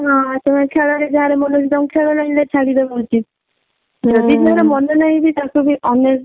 ହଁ ମାନେ ଖେଳ ରେ ଯାହାର ମନ ଅଛି ତାଙ୍କୁ ଖେଳ line ରେ ଛଡିଦାବା ଉଚିତ ଯଦି ତାର ମନେ ନାହିଁ ତାକୁ ଅନ୍ୟ